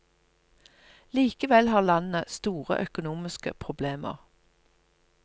Likevel har landet store økonomiske problemer.